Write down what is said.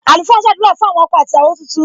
Àlùfáà ń sadura fún àwọn ọkọ àti ìyàwó tuntun.